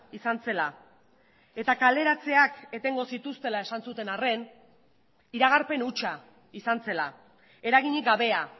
izan zela eta kaleratzeak etengo zituztela esan zuten arren iragarpen hutsa izan zela eraginik gabea